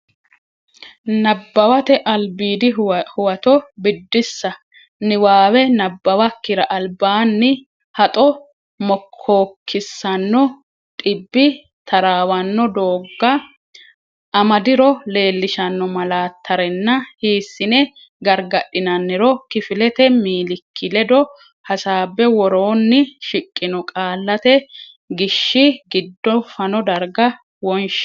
Nabbawate Albiidi Huwato Biddissa Niwaawe nabbawakkira albaanni haxo mokkookkisanno dhibbi taraawanno doogga, amadiro leellishanno malaattarenna hiissine gargadhinanniro kifilete miilikki ledo hasaabbe woroonni shiqino qallate gishshi giddo fano darga wonshi.